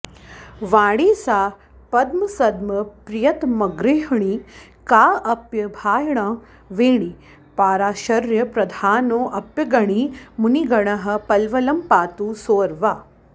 वाणी सा पद्मसद्मप्रियतमगृहिणी काऽप्यभाणीह वेणी पाराशर्यप्रधानोऽप्यगणि मुनिगणः पल्वलं पातु सोऽर्वा